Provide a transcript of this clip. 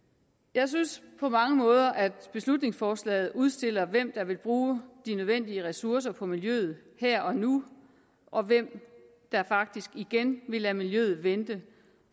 jeg synes på mange måder at beslutningsforslaget udstiller hvem der vil bruge de nødvendige ressourcer på miljøet her og nu og hvem der faktisk igen vil lade miljøet vente